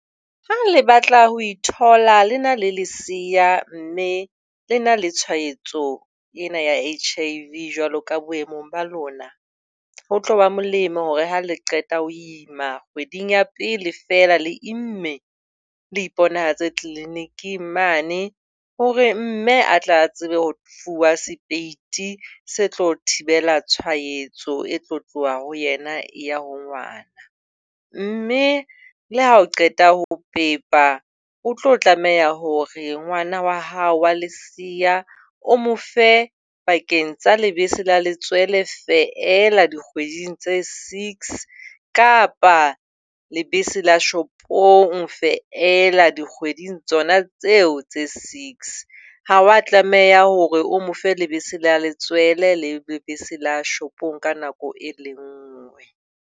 Ha le batla ho ithola le na le lesea mme le na le tshwaetso ena ya H_I_V jwalo ka boemong ba lona, ho tlo ba molemo hore ha le qeta ho ima kgweding ya pele feela le imme le iponahatse clinic-eng mane hore mme a tla a tsebe hore fuwa sepeiti se tlo thibela tshwaetso e tlo tloha ho yena e ya ho ngwana. Mme le ha o qeta ho pepa, o tlo tlameha hore ngwana wa hao wa lesea o mo fe pakeng tsa lebese la letswele feela dikgweding tse six kapa lebese la shopong feela dikgweding tsona tseo tse six. Ha o a tlameha hore o mo fe lebese la letswele le lebese la shopong ka nako e le nngwe.